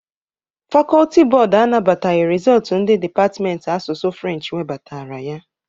Fakọlti bọd anabataghị rizọtụ ndị depatmenti asụsụ Frenchi nwebatara ya.